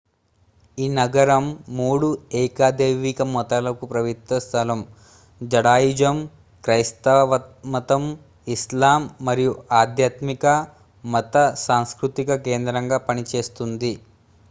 ఈ నగరం మూడు ఏకదైవిక మతాలకు పవిత్ర స్థలం జుడాయిజం క్రైస్తవమతం ఇస్లాం మరియు ఆధ్యాత్మిక మత సాంస్కృతిక కేంద్రంగా పనిచేస్తుంది